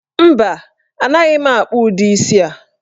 Mba, anaghị m akpụ udi isii a.